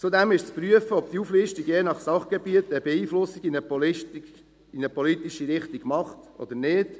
Zudem ist zu prüfen, ob diese Auflistung je nach Sachgebiet eine Beeinflussung in eine bestimmte politische Richtung vornimmt oder nicht.